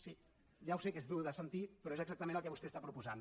sí ja ho sé que és dur de sentir però és exactament el que vostè propo sa